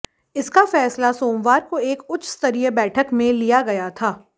इसका फैसला सोमवार को एक उच्चस्तरीय बैठक में लिया गया